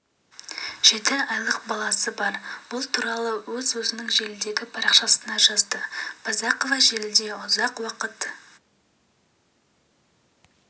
жеті айлық баласы бар бұл туралы ол өзінің желідегі парақшасына жазды байзақова желіде ұзақ уақыт